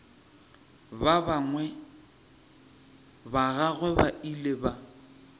ba gagwe ba ile ba